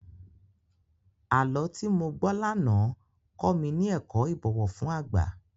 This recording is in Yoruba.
Àlọ́ tí mo gbọ́ lánàá kọ mi ní ẹ̀kọ́ ìbọ̀wọ̀ fún àgbà.